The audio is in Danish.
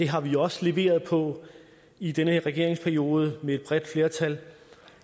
har vi også leveret på i den her regeringsperiode med et bredt flertal